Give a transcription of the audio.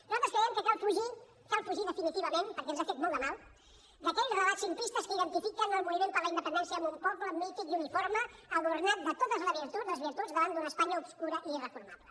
nosaltres creiem que cal fugir cal fugir definitivament perquè ens ha fet molt de mal d’aquells relats simplistes que identifiquen el moviment per la independència amb un poble mític i uniforme adornat de totes les virtuts davant d’una espanya obscura i irreformable